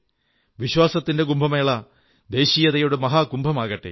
വിശ്വാസത്തിന്റെ കുംഭമേള ദേശീയതയുടെ മഹാകുംഭമാകട്ടെ